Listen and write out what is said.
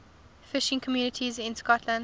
fishing communities in scotland